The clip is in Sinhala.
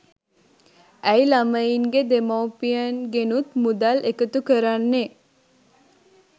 ඇයි ළමයින්ගේ දෙමව්පියන්ගෙනුත් මුදල් එකතු කරන්නේ